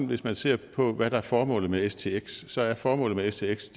hvis man ser på hvad der er formålet med stx så er formålet med stx